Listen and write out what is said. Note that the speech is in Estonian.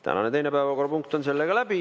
Tänane teine päevakorrapunkt on sellega läbi.